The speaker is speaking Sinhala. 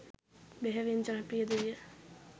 බෙහෙවින් ජනප්‍රියද විය.